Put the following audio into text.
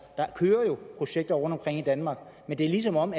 der kører jo projekter rundtomkring i danmark men det er som om